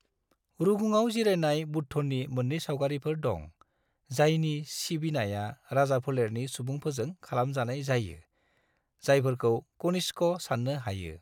रुगुङाव जिरायनाय बुद्धनि मोननै सावगारिफोर दं, जायनि सिबिनाया राजाफोलेरनि सुबुंफोरजों खालामजानाय जायो, जायफोरखौ कनिष्क साननो हायो।